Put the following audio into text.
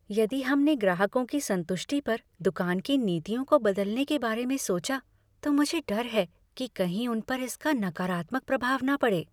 यदि हमने ग्राहकों की संतुष्टि पर दुकान की नीतियों को बदलने के बारे में सोचा तो मुझे डर है कि कहीं उन पर इसका नकारात्मक प्रभाव न पड़े।